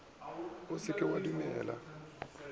o se ke wa dumela